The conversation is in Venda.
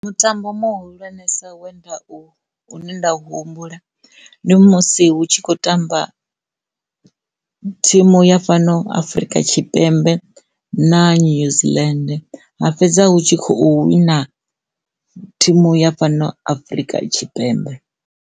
Mutambo muhulwanesa we nda u, u ne nda humbula ndi musi hu tshi khou tamba thimu ya fhano Afrika Tshipembe na News Land ha fhedza hu tshi khou wina thimu ya fhano Afrika Tshipembe.